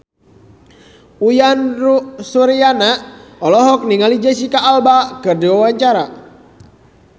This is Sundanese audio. Uyan Suryana olohok ningali Jesicca Alba keur diwawancara